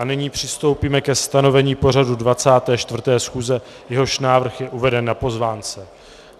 A nyní přistoupíme ke stanovení pořadu 24. schůze, jehož návrh je uveden na pozvánce.